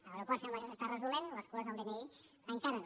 a l’aeroport sembla que s’està resolent les cues del dni encara no